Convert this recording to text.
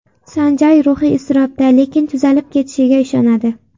Sanjay ruhiy iztirobda, lekin tuzalib ketishiga ishonadi.